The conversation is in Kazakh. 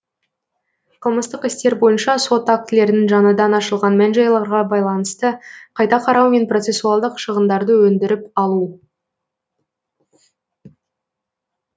қылмыстық істер бойынша сот актілерін жаңадан ашылған мән жайларға байланысты қайта қарау мен процесуалдық шығындарды өндіріп алу